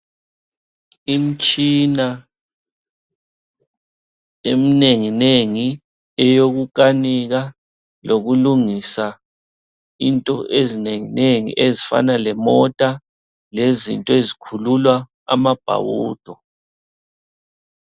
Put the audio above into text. Imtshina eminengi nengi eyokukanika lokulungisa into ezinengi nengi ezifana lemota lezinto ezikhulula amabhawudo.